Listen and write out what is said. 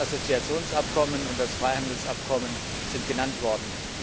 Das Assoziationsabkommen und das Freihandelsabkommen sind genannt worden.